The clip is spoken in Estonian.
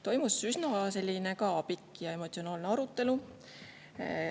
Toimus üsna pikk ja emotsionaalne arutelu.